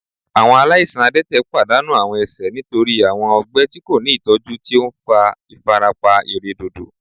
Awọn alaisan adẹtẹ padanu awọn ẹsẹ nitori awọn ọgbẹ ti ko ni itọju ti o nfa ifarapa iredodo